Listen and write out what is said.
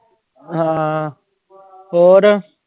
ਹਾਂ ਹੋਰ।